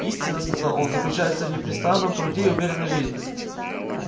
истина сказал он заключается в непрестанном труде и умеренной жизни